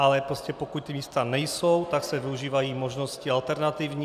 Ale prostě pokud ta místa nejsou, tak se využívají možnosti alternativní.